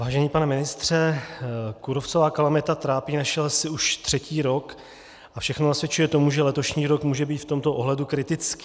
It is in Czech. Vážený pane ministře, kůrovcová kalamita trápí naše lesy už třetí rok a všechno nasvědčuje tomu, že letošní rok může být v tomto ohledu kritický.